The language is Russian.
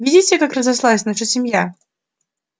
видите как разрослась наша семья